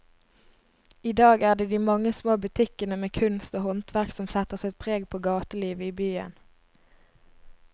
I dag er det de mange små butikkene med kunst og håndverk som setter sitt preg på gatelivet i byen.